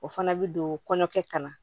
O fana bɛ don kɔɲɔkɛ ka na